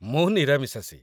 ମୁଁ ନିରାମିଷାଶୀ।